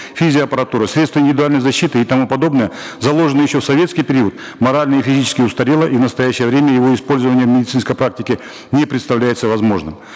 физиоаппаратура средства индивидуальной защиты и тому подобное заложенное еще в советский период морально и физически устарело и в настоящее время его использование в медицинской практике не представляется возможным